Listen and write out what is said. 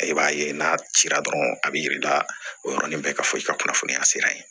I b'a ye n'a cira dɔrɔn a b'i jira o yɔrɔnin bɛɛ ka fɔ i ka kunnafoniya sira ye